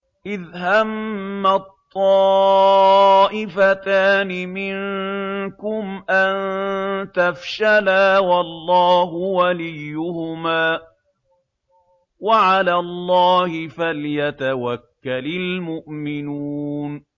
إِذْ هَمَّت طَّائِفَتَانِ مِنكُمْ أَن تَفْشَلَا وَاللَّهُ وَلِيُّهُمَا ۗ وَعَلَى اللَّهِ فَلْيَتَوَكَّلِ الْمُؤْمِنُونَ